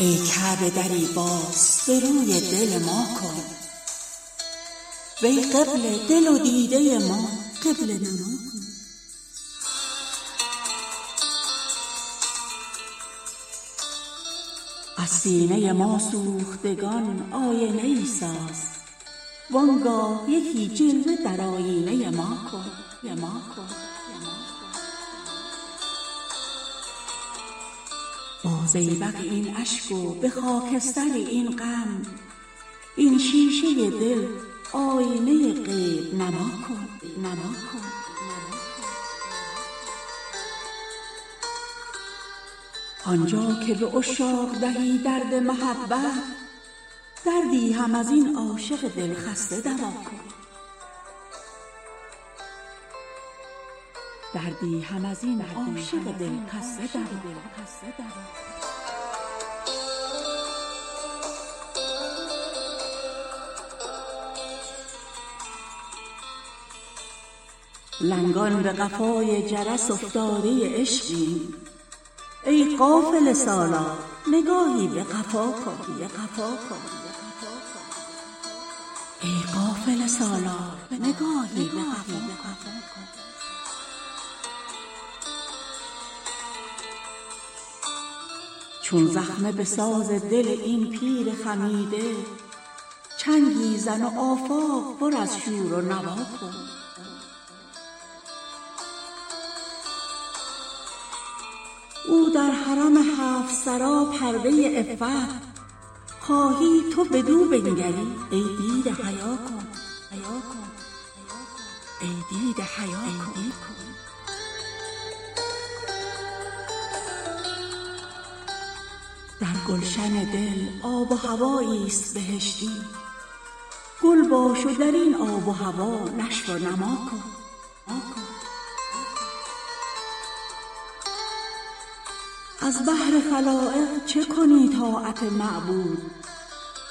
ای کعبه دری باز به روی دل ما کن وی قبله دل و دیده ما قبله نما کن از سینه ما سوختگان آینه ای ساز وانگاه یکی جلوه در آیینه ما کن با زیبق این اشک و به خاکستر این غم این شیشه دل آینه غیب نما کن آنجا که به عشاق دهی درد محبت دردی هم از این عاشق دل خسته دوا کن لنگان به قفای جرس افتاده عشقیم ای قافله سالار نگاهی به قفا کن ناقوس سکوتی که در آفاق بلند است در گوش دل انگیز و دل خفته صدا کن چون زخمه به ساز دل این پیر خمیده چنگی زن و آفاق پر از شور و نوا کن ای دوست رها کرده به کام دل دشمن دشمن هم از این کینه دیرینه رها کن او در حرم هفت سرا پرده عفت خواهی تو بدو بنگری ای دیده حیا کن آیینه شاهی ست بر این صفه صفوت صوفی به ادب باش و به این صفه صفا کن در گلشن دل آب و هوایی است بهشتی گل باش و در این آب و هوا نشو و نما کن از بهر خلایق چه کنی طاعت معبود